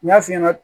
N y'a f'i ɲɛna